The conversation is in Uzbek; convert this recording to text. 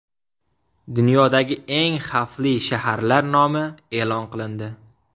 Dunyodagi eng xavfli shaharlar nomi e’lon qilindi.